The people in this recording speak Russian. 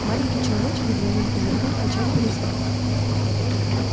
маленький человечек с двойным козырьком кричать перестал